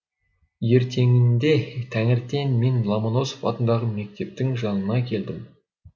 ертеңінде таңертең мен ломоносов атындағы мектептің жанына келдім